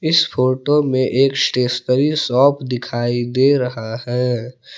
इस फोटो में एक स्टेशनरी शॉप दिखाई दे रहा है।